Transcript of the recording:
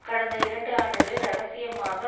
கடந்த இரண்டு ஆண்டுகளில் இரகசியமாக